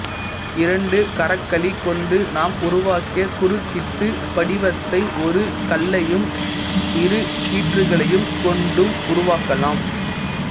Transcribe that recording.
இரண்டு கரகளிக் கொண்டு நாம் உருவாக்கிய குருக்க்கிட்டுப் படிவத்தை ஒரு கல்லையும் இரு கீற்றுக்களையும் கொண்டும் உருவாக்கலாம்